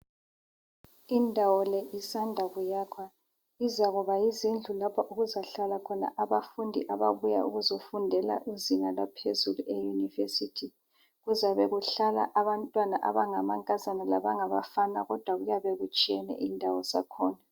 Indawo le isanda kuyakhwa, izakuba yizindlu lapho okuzahlala khona abafundi ababuya ukuzofundela izinga laphezulu eUniversity. Kuzabe kuhlala abantwana abangamankazana labangabafana kodwa kuyabe kutshiyene indawo zakhona.